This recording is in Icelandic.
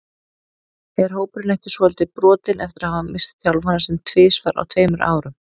Er hópurinn ekki svolítið brotinn eftir að hafa misst þjálfarann sinn tvisvar á tveimur árum?